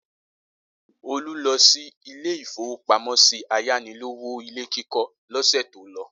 Olú lọ sí ilé-ìfowópamọ́sí ayánilówó ilé kíkọ́ lọ́sẹ̀ tó lọ.